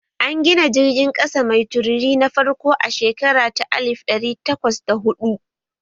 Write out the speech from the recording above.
An gina jirgin ƙasa mai tururi na farko a shekara ta alif ɗari takwas da huɗu